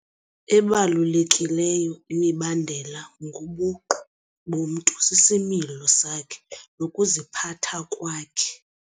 Ebalulekileyo imibandela ngobuqu bomntu sisimilo sakhe nokuziphatha kwakhe.